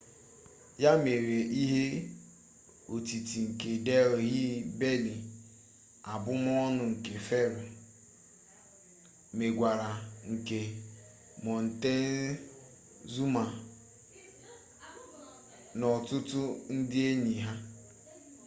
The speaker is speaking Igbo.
ya mere ihe otiti nke delhi belly abụmọọnụ nke fero mmegwara nke montezuma na ọtụtụ ndị enyi ha